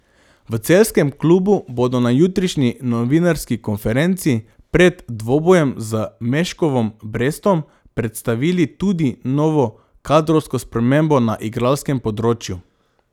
V celjskem klubu bodo na jutrišnji novinarski konferenci pred dvobojem z Meškovom Brestom predstavili tudi novo kadrovsko spremembo na igralskem področju.